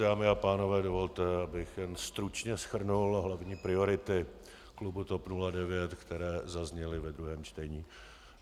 Dámy a pánové, dovolte, abych jen stručně shrnul hlavní priority klubu TOP 09, které zazněly ve druhém čtení.